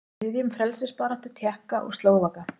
Styðjum frelsisbaráttu Tékka og Slóvaka.